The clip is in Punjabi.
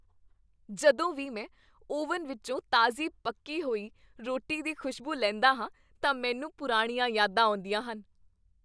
ਜਦੋਂ ਵੀ ਮੈਂ ਓਵਨ ਵਿੱਚੋਂ ਤਾਜ਼ੀ ਪੱਕੀ ਹੋਈ ਰੋਟੀ ਦੀ ਖੁਸ਼ਬੂ ਲੈਂਦਾ ਹਾਂ ਤਾਂ ਮੈਨੂੰ ਪੁਰਾਣੀਆਂ ਯਾਦਾਂ ਆਉਂਦੀਆਂ ਹਨ।